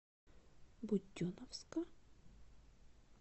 буденновска